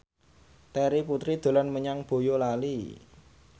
Terry Putri dolan menyang Boyolali